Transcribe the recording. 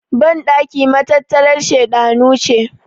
bandaki matattarar shedanu ce